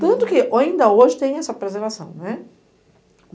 Tanto que, ainda hoje, tem essa preservação, né.